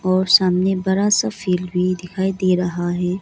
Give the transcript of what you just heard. और सामने बड़ा सा फील्ड भी दिखाई दे रहा है।